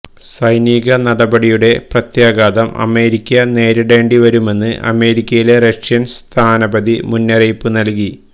സൈനിക നടപടിയുടെ പ്രത്യാഘാതം അമേരിക്ക നേരിടേണ്ടിവരുമെന്ന് അമേരിക്കയിലെ റഷ്യന് സ്ഥാനപതി മുന്നറിയിപ്പ് നല്കി